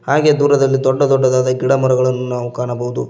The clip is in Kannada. ಹಾಗೆ ದೂರದಲ್ಲಿ ದೊಡ್ಡ ದೊಡ್ಡದಾದ ಗಿಡಮರಗಳನ್ನು ನಾವು ಕಾಣಬಹುದು.